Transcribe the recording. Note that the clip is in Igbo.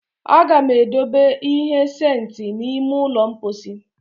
A ga m edobe ihe sentị n'ime ụlọ mposi